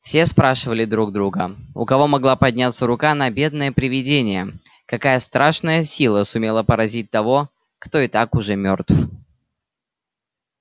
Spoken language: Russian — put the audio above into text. все спрашивали друг друга у кого могла подняться рука на бедное привидение какая страшная сила сумела поразить того кто и так уже мёртв